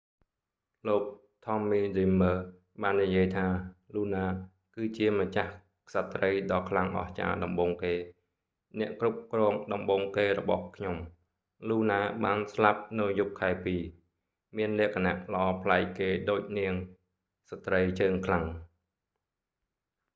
លោក tommy dreamer ថមមី ឌ្រីមើរ បាននិយាយថា luna លូណា គឺជាម្ចាស់ក្សត្រីដ៏ខ្លាំងអស្ចារ្យដំបូងគេ អ្នកគ្រប់គ្រងដំបូងគេរបស់ខ្ញុំ លូណាបានស្លាប់នៅយប់ខែពីរ មានលក្ខណៈល្អប្លែកគេដូចនាង ស្ត្រីជើងខ្លាំង